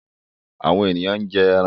Àwọn èèyàn ń jẹ ẹran.